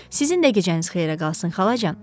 Sizin də gecəniz xeyrə qalsın xalacan.